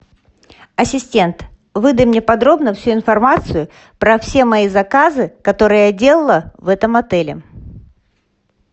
ассистент выдай мне подробно всю информацию про все мои заказы которые я делала в этом отеле